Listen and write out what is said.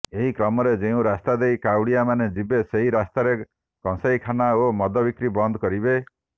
ଏହି କ୍ରମରେ ଯେଉଁ ରାସ୍ତାଦେଇ କାଉଁଡିଆମାନେ ଯିବେ ସେହିରାସ୍ତାରେ କଂସାଇଖାନ ଓ ମଦବିକ୍ରି ବନ୍ଦ କରିବେ